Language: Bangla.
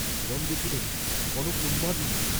হিরণ দেখিলেন, কনক উন্মাদিনী।